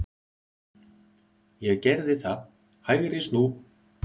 Ég gerði það, hægri snú.